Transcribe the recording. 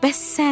Bəs sən?